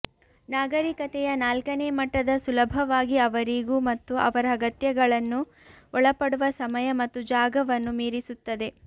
ನಾಗರಿಕತೆಯ ನಾಲ್ಕನೇ ಮಟ್ಟದ ಸುಲಭವಾಗಿ ಅವರಿಗೂ ಮತ್ತು ಅವರ ಅಗತ್ಯಗಳನ್ನು ಒಳಪಡುವ ಸಮಯ ಮತ್ತು ಜಾಗವನ್ನು ಮೀರಿಸುತ್ತದೆ